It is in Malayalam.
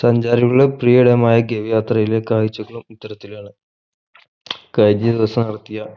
സഞ്ചാരികളുടെ പ്രിയകരമായ ഗവി യാത്രയിലെ കാഴ്ചകളും ഇത്തരത്തിലാണ് കഴിഞ്ഞ ദിവസം ഇറക്കിയ